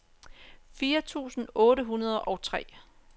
fire tusind otte hundrede og tre